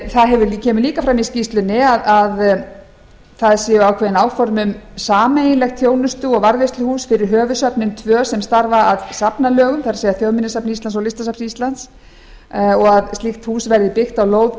það kemur líka fram í skýrslunni að það séu ákveðin áform um sameiginlegt þjónustu og varðveisluhús fyrir höfuðsöfnin tvö sem starfa að safnalögum það er þjóðminjasafn íslands og listasafn íslands og að slttk hús verði byggt á lóð